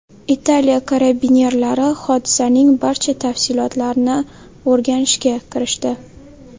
Italiya karabinerlari hodisaning barcha tafsilotlarini o‘rganishga kirishdi.